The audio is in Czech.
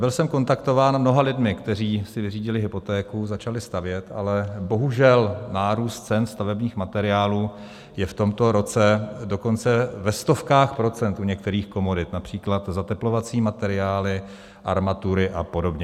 Byl jsem kontaktován mnoha lidmi, kteří si vyřídili hypotéku, začali stavět, ale bohužel, nárůst cen stavebních materiálů je v tomto roce dokonce ve stovkách procent u některých komodit, například zateplovací materiály, armatury a podobně.